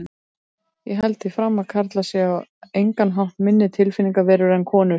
Ég held því fram að karlar séu á engan hátt minni tilfinningaverur en konur.